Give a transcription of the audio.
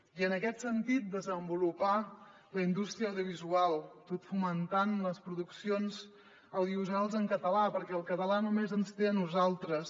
i en aquest sentit desenvolupar la indústria audiovisual tot fomentant les produccions audiovisuals en català perquè el català només ens té a nosaltres